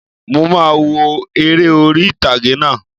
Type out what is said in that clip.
Mo máà wo eré orí ìtàgé náà